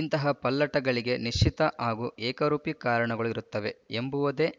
ಇಂತಹ ಪಲ್ಲಟಗಳಿಗೆ ನಿಶ್ಚಿತ ಹಾಗೂ ಏಕರೂಪಿ ಕಾರಣಗಳು ಇರುತ್ತವೆ ಎಂಬುವುದೇ